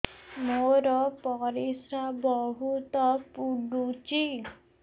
ମୋର ପରିସ୍ରା ବହୁତ ପୁଡୁଚି